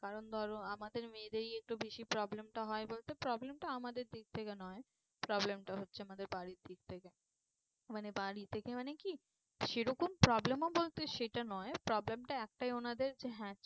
কারণ ধরো আমাদের মেয়েদেরই একটু বেশি problem টা হয় বলতে problem টা আমাদের দিক থেকে নয়। problem হচ্ছে আমাদের বাড়ির দিক থেকে। মানে বাড়ি থেকে মানে কি সে রকম problem ও বলতে সেটা নয় problem টা একটাও ওনাদের যে হ্যাঁ